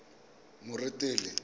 moretele